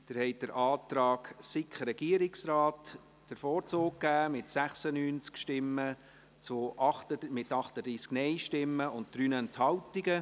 Sie haben dem Antrag der SiK und des Regierungsrates den Vorzug gegeben, mit 96 Ja- zu 38 Nein-Stimmen und 3 Enthaltungen.